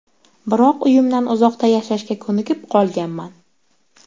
Biroq uyimdan uzoqda yashashga ko‘nikib qolganman.